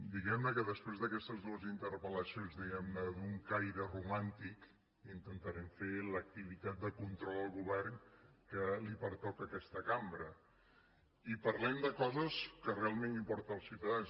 diguem que després d’aquestes dues interpel·lacions diguem ne d’un caire romàntic intentarem fer l’activitat de control al govern que li pertoca a aquesta cambra i parlem de coses que realment importen als ciutadans